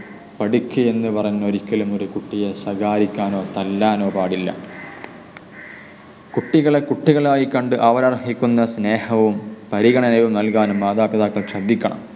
പഠിക്ക് എന്നു പറഞ്ഞു ഒരിക്കലും ഒരു കുട്ടിയെ ശകാരിക്കാനോ തല്ലാനോ പാടില്ല. കുട്ടികളെ കുട്ടികളായി കണ്ട് അവരർഹിക്കുന്ന സ്നേഹവും പരിഗണനയും നല്കാൻ മാതാപിതാക്കൾ ശ്രദ്ധിക്കണം.